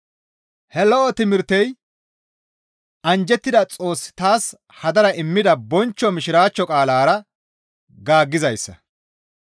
He lo7o timirtey anjjettida Xoossi taas hadara immida bonchcho mishiraachcho qaalara gaaggizayssa.